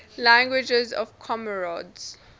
languages of comoros